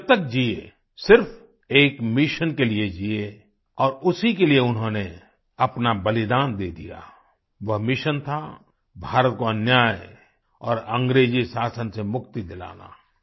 वे जब तक जिए सिर्फ एक मिशन के लिए जिए और उसी के लिये उन्होंने अपना बलिदान दे दिया वह मिशन था भारत को अन्याय और अंग्रेजी शासन से मुक्ति दिलाना